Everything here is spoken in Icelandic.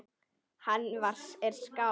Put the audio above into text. Hann er skáld.